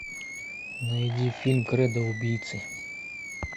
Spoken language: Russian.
найди фильм кредо убийцы